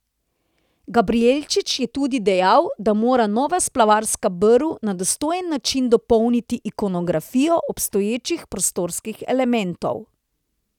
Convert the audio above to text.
Gabrijelčič je tudi dejal, da mora nova splavarska brv na dostojen način dopolniti ikonografijo obstoječih prostorskih elementov.